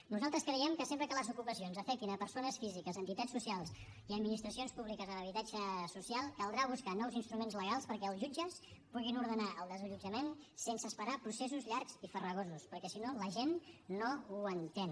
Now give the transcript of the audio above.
nosaltres creiem que sempre que les ocupacions afectin persones físiques entitats socials i administracions públiques amb habitatge social caldrà buscar nous instruments legals perquè els jutges puguin ordenar el desallotjament sense esperar processos llargs i farragosos perquè si no la gent no ho entén